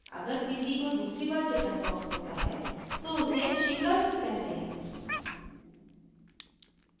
अगर किसी को दूसरी बार chickenpox होता है तो उसे शिंगगल्ज़ कहते हैं